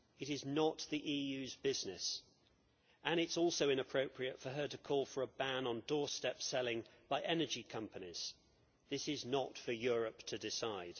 It is not the EU's business, and it is also inappropriate for her to call for a ban on doorstep selling by energy companies. This is not for Europe to decide.